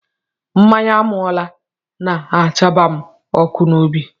Mmanya ámáụla na-àchaba m ọkụ n'obi